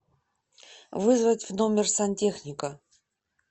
вызвать в номер сантехника